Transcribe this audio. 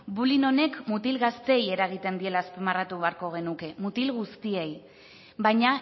bullying honek mutil gazteei eragiten diela azpimarratu beharko genuke mutil guztiei baina